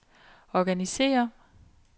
organisér